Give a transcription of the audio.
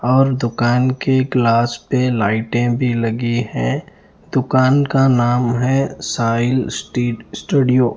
और दुकान के ग्लास पे लाइटे भी लगी है दुकान का नाम है साहिल स्ट्रीट स्टूडियो ।